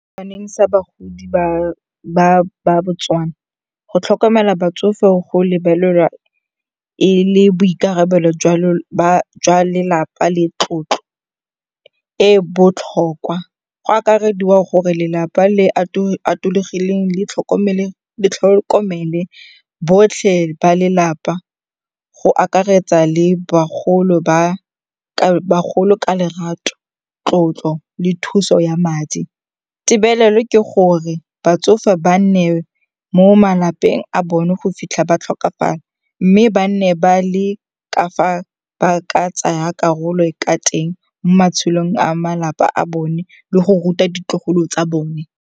sa bagodi ba Botswana, go tlhokomela batsofe go lebelelwa e le boikarabelo jwa lelapa le tlotlo e e botlhokwa. Go akarediwa gore lelapa le le atologileng le tlhokomele botlhe ba lelapa go akaretsa le bagolo ka lerato, tlotlo le thuso ya madi. Tebelelo ke gore batsofe ba nne mo malapeng a bone go fitlha ba tlhokafala mme ba nne ba le ka fa ba ka tsayang karolo ka teng mo matshelong a malapa a bone le go ruta ditlogolo tsa bone.